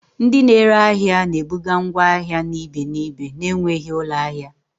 Ndị na-ere ahịa na-ebuga ngwa ahịa na ibe n'ibe na-enweghị ụlọ ahịa